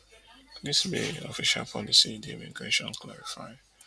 dis official policy di immigration clarify